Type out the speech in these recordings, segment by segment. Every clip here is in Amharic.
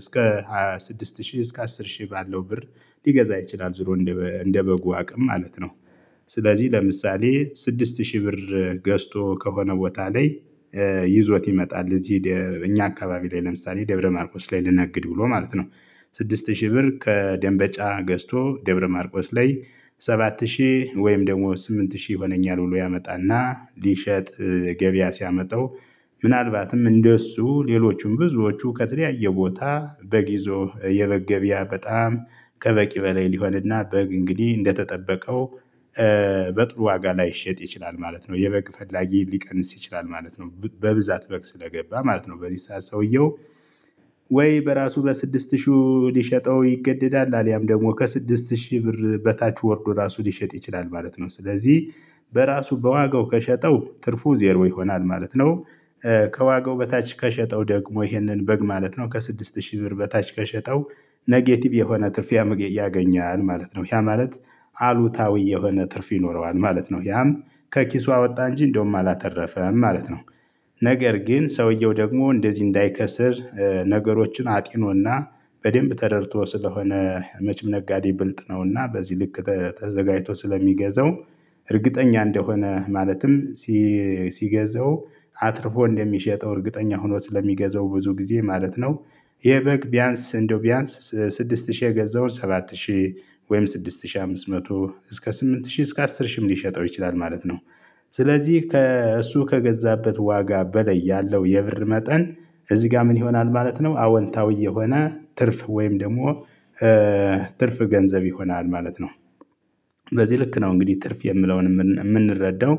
እስከ ሃያ ስድስት ሺህ እስከ አስር ሺህ ባለው ብር ሊገዛ ይችላል ዞሮ እንደ እንደ በጉ አቅም ማለት ነው። ስለዚህ ለምሳሌ ስድስት ሺህ ብር ገዝቶ ከሆነ ቦታ ላይ። ይዞት ይመጣል እዚህ እኛ አካባቢ ላይ ለምሳሌ ደብረማርቆስ ላይ ልነግድ ብሎ ማለት ነው። ስድስት ሺህ ብር ከደንበጫ ገዝቶ ደብረ ማርቆስ ላይ ሰባት ሺህ ወይም ደግሞ ስምንት ሺህ ሆነኛል ብሎ ያመጣና ሊሸጥ ገበያ ሲያመጣው። ምናልባትም እንደሱ ሌሎቹም ብዙዎቹ ከተለያየ ቦታ በግ ይዞ የበግ ገበያ በጣም ከበቂ በላይ ሊሆንና በግ እንግዲህ እንደተጠበቀው። በጥሩ ዋጋ ላይሸጥ ይችላል ማለት ነው የበቅ ፈላጊ ሊቀንስ ይችላል ማለት ነው። በብዛት በግ ስለገባ ማለት ነው በዚህ ሰዓት ሰውየው ወይ በራሱ በስድስት ሺህ ሊሸጠው ይገደዳል አልያም ደግሞ ከስድስት ሺህ ብር በታች ወርዶ ራሱ ሊሸጥ ይችላል ማለት ነው። ስለዚህ በራሱ በዋጋው ከሸጠው ትርፉ ዜሮ ይሆናል ማለት ነው። ከዋጋው በታች ከሸጠው ደግሞ ይሄንን በግ ማለት ነው ከስድስት ሺህ ብር በታች ከሸጠው ኔጌቲቭ የሆነ ትርፍ ያገኛል ማለት ነው። ያ ማለት አሉታዊ የሆነ ትርፍ ይኖረዋል ማለት ነው። ያም ከኪሱ አወጣ እንጂ እንደውም አላተረፈም ማለት ነው። ነገር ግን ሰውየው ደግሞ እንደዚህ እንዳይከስር ነገሮችን አጢኖና በደንብ ተረድቶ ስለሆነ መቼም ነጋዴ ብልጥ ነውና በዚህ ልክ ተዘጋጅቶ ስለሚገዛው እርግጠኛ እንደሆነ ማለትም ሲገዛው አትርፎ እንደሚሸጠው እርግጠኛ ሆኖ ስለሚገዛው ብዙ ጊዜ ማለት ነው። የበግ ቢያንስ እንደው ቢያንስ ስድስት ሺህ የገዛውን ሰባት ሺህ ወይም ስድስት ሺህ አምስት መቶ እስከ ስምንት ሺህ እስከ አስር ሺህም ሊሸጠው ይችላል ማለት ነው። ስለዚህ እሱ ከገዛበት ዋጋ በለይ ያለው የብር መጠን እዚህ ጋር ምን ይሆናል ማለት ነው? አወንታዊ የሆነ ትርፍ ወይም ደግሞ ትርፍ ገንዘብ ይሆናል ማለት ነው። በዚህ ልክ ነው እንግዲህ ትርፍ የምለውን የምንረዳው።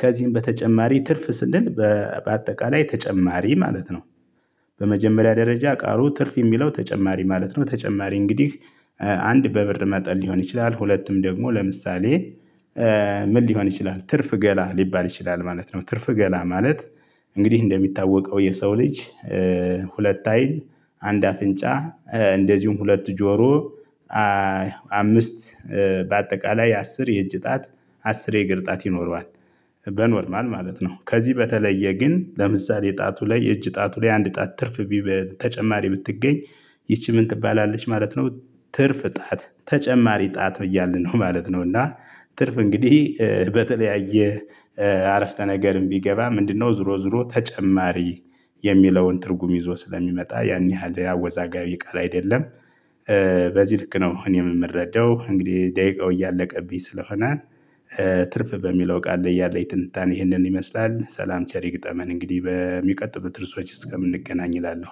ከዚህም በተጨማሪ ትርፍ ስንል በአጠቃላይ ተጨማሪ ማለት ነው። በመጀመሪያ ደረጃ ቃሉ ትርፍ የሚለው ተጨማሪ ማለት ነው። ተጨማሪ እንግዲህ አንድ በብር መጠን ሊሆን ይችላል። ሁለትም ደግሞ ለምሳሌ ምን ሊሆን ይችላል ትርፍ ገላ ሊባል ይችላል ማለት ነው። ትርፍ ገላ ማለት እንግዲህ እንደሚታወቀው የሰው ልጅ። ሁለት አይን አንድ አፍንጫ እንደዚሁም ሁለት ጆሮ። አምስት በአጠቃላይ አስር የእጅ እጣት አስር የእግር እጣት ይኖረዋል። በኖርማል ማለት ነው። ከዚህ በተለየ ግን ለምሳሌ ጣቱ ላይ እጅ ጣቱ ላይ አንድ ጣት ትርፍ በተጨማሪ ብትገኝ ይቺ ምን ትባላለች ማለት ነው። ትርፍ ጣት ተጨማሪ ጣት እያልን ነው ማለት ነው። እና ትርፍ እንግዲህ በተለያየ አረፍተ ነገርም ቢገባ ምንድነው ዞሮ ዞሮ ተጨማሪ የሚለውን ትርጉም ይዞ ስለሚመጣ ያን ያህል አወዛጋቢ ቃል አይደለም። በዚህ ልክ ነው እኔ የምረዳው እንግዲህ ደቂቃው እያለቀብኝ ስለሆነ። ትርፍ በሚለው ቃል ላይ ያለኝ ትንታኔ ይህንን ይመስላል። ሰላም ቸር ይግጠመን እንግዲህ በሚቀጥሉት ርዕሶች እስከምንገናኝ እላለሁ